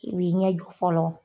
I b'i ɲɛjɔ fɔlɔ.